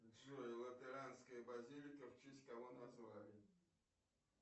джой лютеранская базилика в честь кого назвали